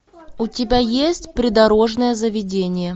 у тебя есть придорожное заведение